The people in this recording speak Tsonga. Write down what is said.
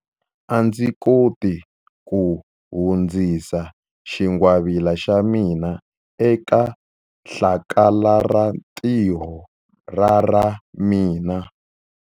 A ndzi koti ku hundzisa xingwavila xa mina eka hlakalarintiho ra ra mina.